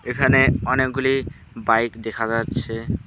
এখানে অনেকগুলি বাইক দেখা যাচ্ছে।